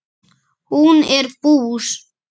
Hún er bús.